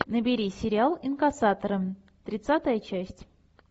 набери сериал инкассаторы тридцатая часть